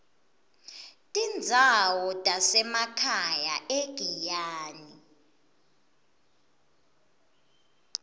tindzawo tasemakhaya egiyani